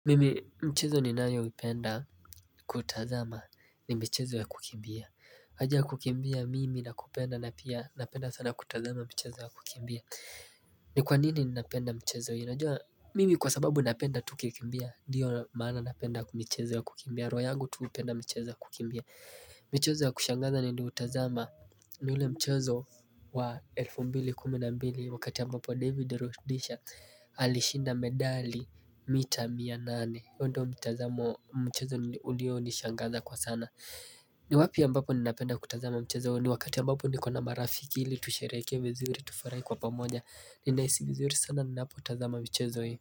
Mimi mchezo ninayoipenda kutazama ni michezo ya kukimbia. Haja ya kukimbia mimi nakupenda na pia napenda sana kutazama michezo ya kukimbia ni kwa nini ninapenda michezo hii? Unajua mimi kwa sababu napenda tu kikimbia. Ndio maana napenda michezo ya kukimbia roho yangu tu hupenda michezo ya kukimbia michezo ya kushangaza na ndio utazama ni ule mchezo wa elfu mbili kumi na mbili wakati ambapo David Rudisha Alishinda medali mita mia nane huo mchezo ulionishangaza kwa sana. Ni wapi ambapo ninapenda kutazama mchezo huu? Ni wakati ambapo niko na marafiki ili tushereke vizuri tufurahi kwa pamoja. Ninaisi vizuri sana ninapo tazama mchezo hii.